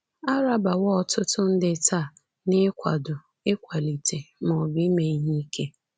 A rabawo ọtụtụ ndị taa n’ịkwado, ịkwalite, ma ọ bụ ime ihe ike.